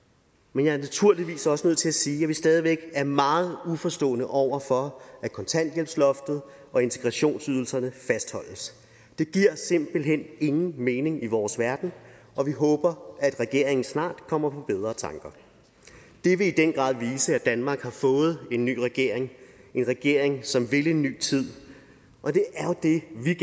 men jeg er naturligvis også nødt til at sige at vi stadig væk er meget uforstående over for at kontanthjælpsloftet og integrationsydelserne fastholdes det giver simpelt hen ingen mening i vores verden og vi håber at regeringen snart kommer på bedre tanker det vil i den grad vise at danmark har fået en ny regering en regering som vil en ny tid og det